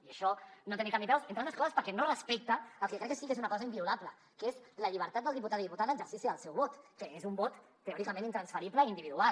i això no té ni cap ni peus entre altres coses perquè no respecta el que crec que sí que és una cosa inviolable que és la llibertat del diputat i diputada en l’exercici del seu vot que és un vot teòricament intransferible i individual